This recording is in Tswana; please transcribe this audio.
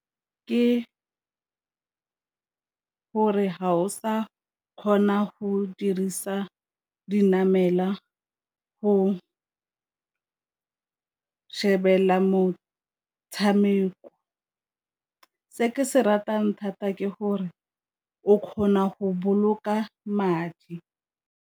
Ke gore ga o sa kgona go dirisa dinamelwa go shebella motshameko, se ke se ratang thata ke gore o kgona go boloka madi.